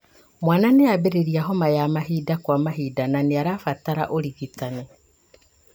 Mwana nĩambĩrĩria homa ya mahinda kwa mahinda na nĩarabatara ũrigitani